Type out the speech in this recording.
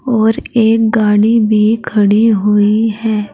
और एक गाड़ी भी खड़ी हुई है।